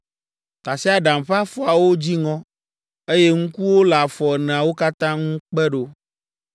Tasiaɖam ƒe afɔawo dzi ŋɔ, eye ŋkuwo le afɔ eneawo katã ŋu kpe ɖo.